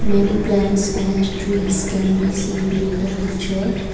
many plants and trees can be seen in the picture.